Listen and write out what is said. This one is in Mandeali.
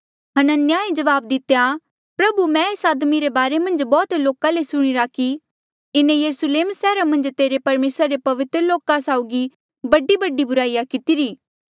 हनन्याहे जवाब दितेया प्रभु मैं एस आदमी रे बारे मन्झ बौह्त लोका ले सुणिरा कि इन्हें यरुस्लेम सैहरा मन्झ तेरे परमेसरा रे पवित्र लोका साउगी बडीबडी बुराईया कितिरी